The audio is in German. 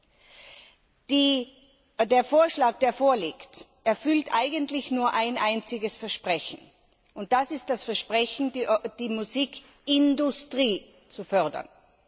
Der vorliegende Vorschlag erfüllt eigentlich nur ein einziges Versprechen, und das ist das Versprechen, die Musikindustrie zu fördern.